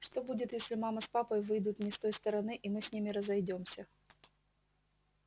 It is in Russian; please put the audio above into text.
что будет если мама с папой выйдут не с той стороны и мы с ними разойдёмся